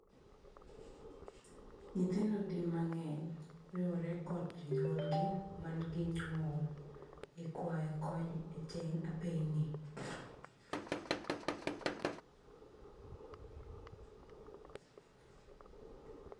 Nyithindo di mang'eny riwore kod jonyuolgi man gi ng'ol e kwayo kony e teng apeyni.